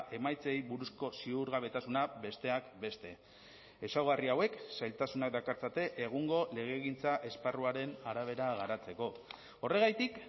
emaitzei buruzko ziurgabetasuna besteak beste ezaugarri hauek zailtasunak dakartzate egungo legegintza esparruaren arabera garatzeko horregatik